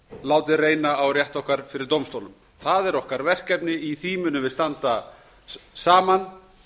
látið reyna á rétt okkar fyrir dómstólum það er okkar verkefni í því munum við standa saman